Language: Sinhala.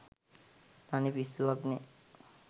තනි පිස්සුවක්නේ